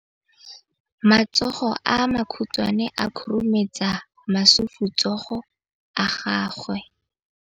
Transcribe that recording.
Matsogo a makhutshwane a khurumetsa masufutsogo a gago.